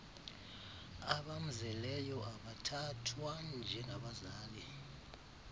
abamzeleyo abathathwa njengabazali